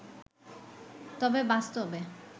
তবে বাস্তবে